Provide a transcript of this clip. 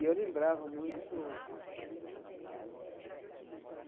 E eu lembrava muito do do